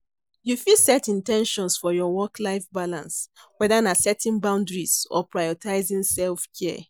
You fit set in ten tions for your work-life balance, whether na setting boundaries or prioritizing self-care.